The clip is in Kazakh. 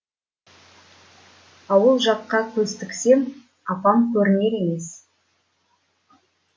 ауыл жаққа көз тіксем апам көрінер емес